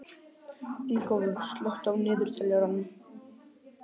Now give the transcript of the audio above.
Ingólfur, slökktu á niðurteljaranum.